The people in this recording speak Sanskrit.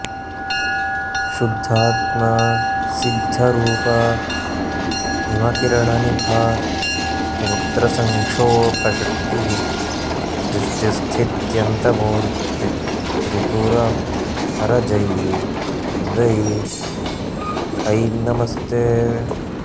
शुद्धात्मा सिद्धरूपा हिमकिरणनिभा स्तोत्रसङ्क्षोभशक्तिः सृष्टिस्थित्यन्तमूर्ती त्रिपुरहरजयी सुन्दरी ऐं नमस्ते